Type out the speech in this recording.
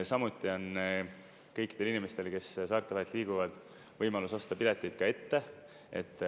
Samuti on kõikidel inimestel, kes saarte vahel liiguvad, võimalus osta piletid ette.